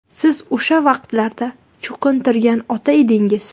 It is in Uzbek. Siz o‘sha vaqtlarda cho‘qintirgan ota edingiz.